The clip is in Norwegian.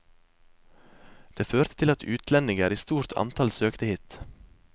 Det førte til at utlendinger i stort antall søkte hit.